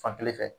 Fankelen fɛ